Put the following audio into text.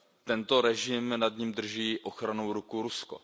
Tento režim, nad ním drží ochrannou ruku Rusko.